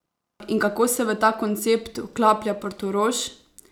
In kako se v ta koncept vklaplja Portorož?